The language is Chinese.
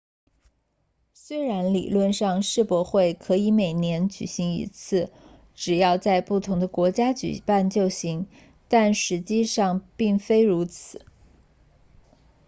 虽然理论上世博会可以每年举行一次只要在不同的国家举办就行但实际上并非如此